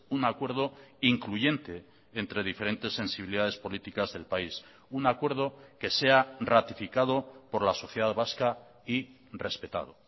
un acuerdo incluyente entre diferentes sensibilidades políticas del país un acuerdo que sea ratificado por la sociedad vasca y respetado